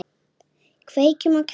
Kveiki á kertum.